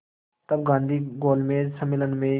तब गांधी गोलमेज सम्मेलन में